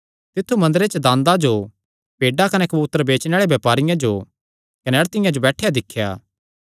तिन्नी मंदरे च दांदा जो भेड्डां कने कबूतर बेचणे आल़े बपारियां जो कने अड़तिआं जो बैठेया दिख्या